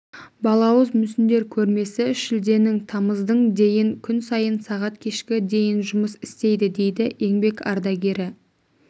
балауыз мүсіндер көрмесі шілденің тамыздың дейін күн сайын сағат кешкі дейін жұмыс істейді дейді еңбек ардагері